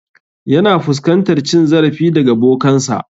Yana fuskantar cin zarafi daga bokansa